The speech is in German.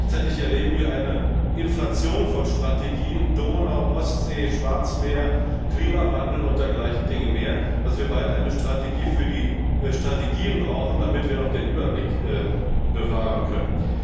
Gleichzeitig erleben wir eine solche Inflation von Strategien Donau, Ostsee, Schwarzmeer, Klimawandel und dergleichen Dinge mehr dass wir bald eine Strategie für die Strategien brauchen, damit wir noch den Überblick bewahren können.